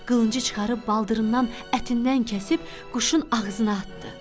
Qılıncı çıxarıb baldırından ətindən kəsib quşun ağzına atdı.